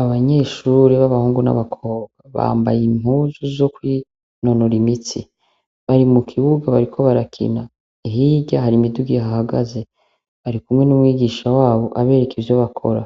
Abanyeshure babahungu nabakobwa bambaye impuzu zo kwinonora imitsi bari mukibuga bariko barakina hirya hari imiduga ihahagaze barikumwe numwigisha wabo abereka ivyo bakora